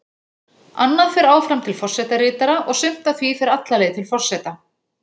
Annað fer áfram til forsetaritara og sumt af því fer alla leið til forseta.